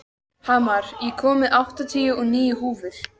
Hamar, ég kom með áttatíu og níu húfur!